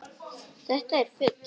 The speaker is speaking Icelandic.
Þetta er fugl.